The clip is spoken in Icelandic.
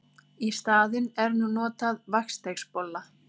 Í staðinn er nú notað vatnsdeigsbolla.